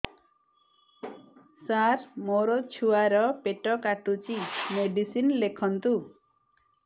ସାର ମୋର ଛୁଆ ର ପେଟ କାଟୁଚି ମେଡିସିନ ଲେଖନ୍ତୁ